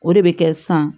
O de bɛ kɛ san